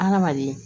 Adamaden